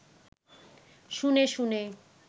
শুনে শুনে